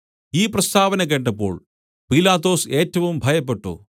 ഈ പ്രസ്താവന കേട്ടപ്പോൾ പീലാത്തോസ് ഏറ്റവും ഭയപ്പെട്ടു